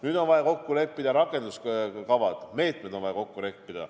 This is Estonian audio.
Nüüd on vaja kokku leppida rakenduskavad ja meetmed.